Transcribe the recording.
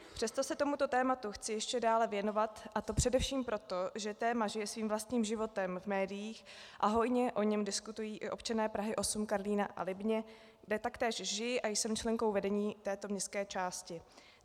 Přesto se tomuto tématu chci ještě dále věnovat, a to především proto, že téma žije svým vlastním životem v médiích a hojně o něm diskutují i občané Prahy 8 - Karlína a Libně, kde taktéž žiji a jsem členkou vedení této městské části.